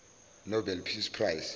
nobel peace prize